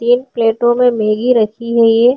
ये प्लेटों मे मैग्गी रखी है ये।